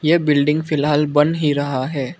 यह बिल्डिंग फिलहाल बन ही रहा है।